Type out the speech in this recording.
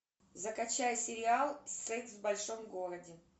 закачай сериал секс в большом городе